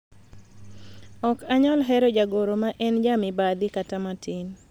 ok anyal hero jagoro ma en jamibadhi kata matin